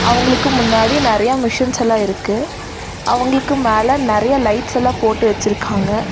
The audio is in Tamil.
அவங்களுக்கு முன்னாடி நெறைய மெஷின்ஸ் எல்லா இருக்கு அவங்களுக்கு மேல நெறைய லைட்ஸ் எல்லா போட்டு வச்சிருக்காங்க.